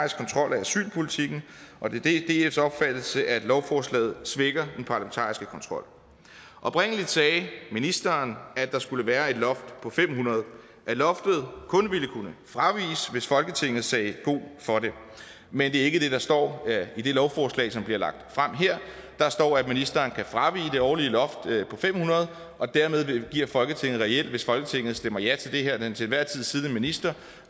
asylpolitikken og det er dfs opfattelse at lovforslaget svækker den parlamentariske kontrol oprindelig sagde ministeren at der skulle være et loft på fem hundrede og at loftet kun ville kunne fraviges hvis folketinget sagde god for det men det er ikke det der står i det lovforslag som bliver lagt frem her der står at ministeren kan fravige det årlige loft på fem hundrede og dermed giver folketinget reelt hvis folketinget stemmer ja til det her den til enhver tid siddende minister